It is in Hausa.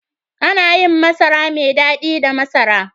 Ana yin masara mai dadi da masara.